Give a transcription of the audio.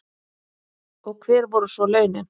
Og hver voru svo launin?